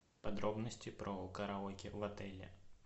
подробности про караоке в отеле